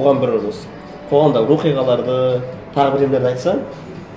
оған бір осы қоғамдағы оқиғаларды тағы бірдеңелерді айтсаң